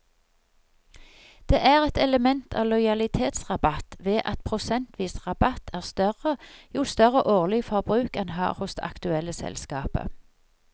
Det er et element av lojalitetsrabatt ved at prosentvis rabatt er større jo større årlig forbruk en har hos det aktuelle selskapet.